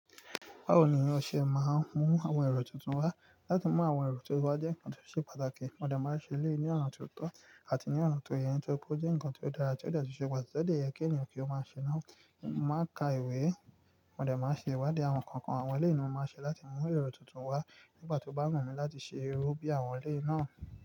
Báwo ni o ṣe máa ń mú àwọn èrò tuntun wá? Látì mú àwọn èrò tuntun wá jẹ́ ǹkan tó ṣe pàtàkì, mọ n dẹ̀ máa ń ṣe lè yii ni ọ̀nà tó tọ́ àti ní ọ̀nà tó yẹ́ ni tóri pé ó jẹ́ ǹkan tó dára tí ó dẹ̀ tun ṣẹ pàtàkì yẹ kí ènìyàn kí ó máa ṣe náà. Máa ka ìwé, mọ n dẹ̀ máa ń ṣe ìwádìí àwọn kánkan àwọn eléyi ni mo máa ṣe láti mú èrò tuntun wá nígbà tó bá mọ̀ mí láti ṣe irú bí àwọn eléyi náà.